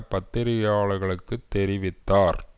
பத்திரிகையாளர்களுக்குத் தெரிவித்தார்